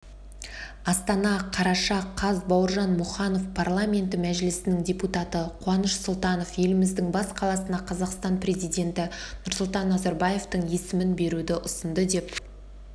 астана қараша қаз бауыржан мұқанов парламенті мәжілісінің депутаты қаныш сұлтанов еліміздің бас қаласына қазақстан президенті нұрсұлтан назарбаевтың есімін беруді ұсынды деп